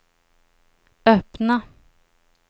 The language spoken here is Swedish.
öppna